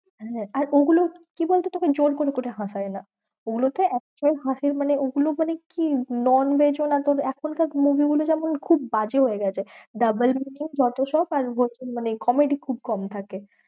আর ওগুলো কি বলতো তোকে জোর করে করে হাঁসায় না। ওগুলোতে actual হাসির, মানে ওগুলো মানে কি তবে এখন কার movie গুলো যেমন খুব বাজে হয়ে গেছে। double meaning যত সব আর মানে comedy খুব কম থাকে।